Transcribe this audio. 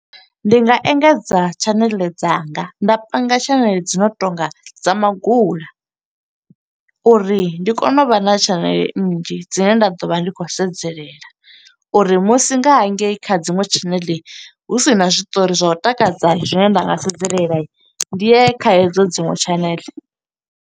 Ndi nga engedza tshaneḽe dzanga, nda panga tshaneḽe dzi no tonga dza magula, uri ndi kone u vha na tshaneḽe nnzhi dzine nda ḓo vha ndi khou khou sedzella. Uri musi nga hangei kha dziṅwe tshaneḽe hu sina zwiṱori zwa u takadza, zwine nda nga sedzelela ndi ye kha hedzo dziṅwe channel.